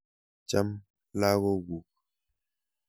Cham lagokuk.